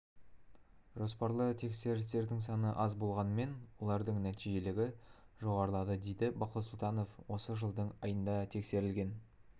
жоспарлы тексерістердің саны аз болғанымен олардың нәтижелігі жоғарылады дейді бақыт сұлтанов осы жылдың айында тексерілген